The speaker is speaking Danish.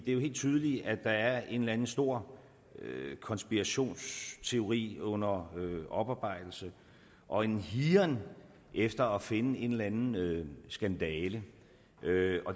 jo helt tydeligt at der er en eller anden stor konspirationsteori under oparbejdelse og en higen efter at finde en eller andet skandale